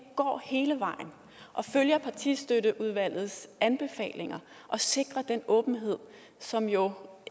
går hele vejen og følger partistøtteudvalgets anbefalinger og sikrer den åbenhed som jo